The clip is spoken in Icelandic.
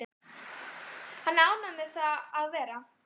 Hann er ánægður með það að vera